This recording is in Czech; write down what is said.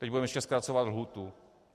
Teď budeme ještě zkracovat lhůtu.